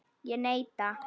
Ég neita.